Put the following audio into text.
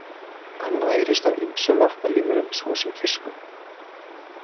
Hann nærist á ýmsum vatnalífverum svo sem fiskum.